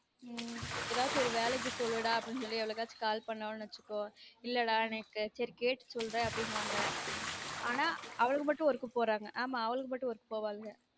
உம் எதாச்சும் ஒரு வேலைக்கு சொல்லுடா அப்டினு சொல்லி எவளுக்காச்சும் call பன்னனும் வச்சுக்கோ இல்லடா எனக்கு சேரி கேட்டு சொல்றன் அப்டினுவாங்க ஆனா அவளுக மட்டும் work போறாங்க ஆமா அவளுக மட்டும் work போவாங்க